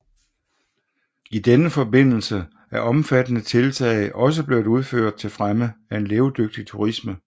I denne forbindelse er omfattende tiltag også blevet udført til fremme af en levedygtig turisme